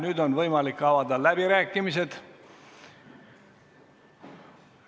Nüüd on võimalik avada läbirääkimised.